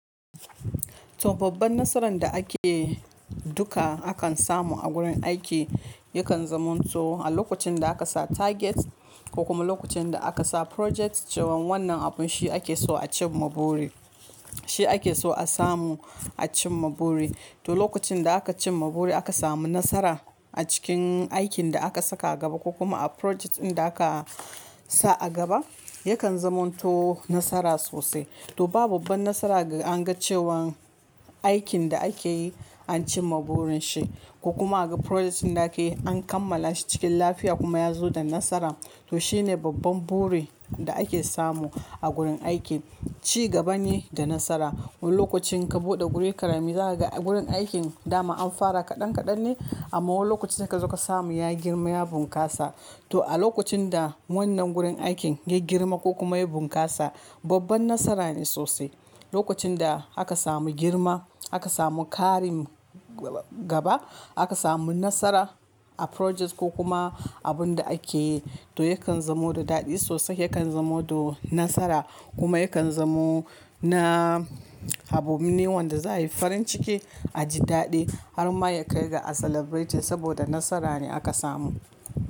To babban nasaran da ake duka akan samu a gurin aiki yakan zamanto a lokacin da aka sa target ko kuma lokacin da aka sa project cewan wannan abun shi ake so a cimma buri, shi ake so a samu a cimma buri. To lokacin da aka cimma buri aka samu nasara a cikin aikin da aka saka gaba ko kuma a project ɗin da aka sa a gaba, yakan zamanto nasara sosai. To ba babban nasara ga anga cewan aikin da akeyi an cimma burin shi ko kuma aga project din da akeyi an kammala shi cikin lafiya kuma ya zo da nasara. To shine babban buri da ake samu a gurin aiki. Ci gaba ne da nasara. Wani lokacin ka buɗe guri karami, zaka ga gurin aikin dama an fara kaɗan kaɗan ne amma wani lokacin sai kazo ka samu ya girma ya bunƙasa. To a lokacin da wannan gurin aikin ya girma ko kuma ya bunƙasa babban nasara ne sosai. Lokacin da aka samu girma, aka samu ƙarin gaba, aka samu nasara a project ko kuma abun da akeyi to yakan zamo da daɗi sosai, yakan zamo da nasara kuma yakan zamo na abune wanda za yayi farin ciki a ji daɗi har ma ya kai ga a celebrate shi saboda nasara ne aka samu.